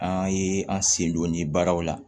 An ye an sen don nin baaraw la